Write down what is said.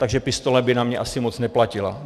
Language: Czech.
Takže pistole by na mě asi moc neplatila.